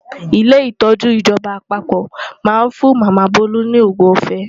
Ilé ìtọ́jú ìjọba àpapọ̀ máa ń fún Màmá Bolu ní òògùn ọ̀fẹ́.